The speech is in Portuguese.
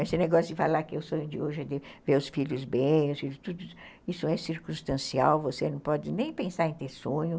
Esse negócio de falar que o sonho de hoje é ver os filhos bem, isso é circunstancial, você não pode nem pensar em ter sonho.